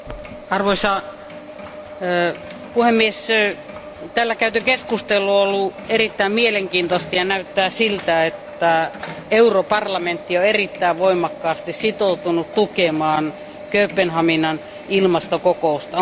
Arvoisa puhemies, täällä käyty keskustelu on ollut erittäin mielenkiintoinen ja näyttää siltä, että Euroopan parlamentti on erittäin voimakkaasti sitoutunut tukemaan Kööpenhaminan ilmastokokousta.